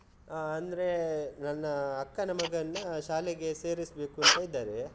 ಹ ಅಂದ್ರೆ, ನನ್ನ ಅಕ್ಕನ ಮಗನ್ನ ಶಾಲೆಗೆ ಸೇರಿಸ್ಬೇಕು ಅಂತ ಇದ್ದಾರೆ.